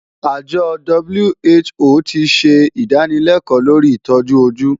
Àjọ WHO ti ṣe ìdánilẹ́kọ̀ọ́ lórí ìtọ́jú ojú.